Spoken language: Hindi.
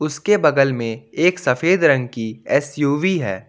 उसके बगल में एक सफेद रंग की एस_यू_वी है।